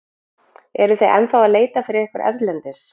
Eruð þið ennþá að leita fyrir ykkur erlendis?